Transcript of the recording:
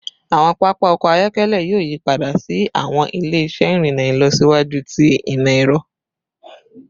Awọn papa ọkọ ayọkẹlẹ yoo yipada si awọn ile-iṣẹ irinna ilọsiwaju ti imọ-ẹrọ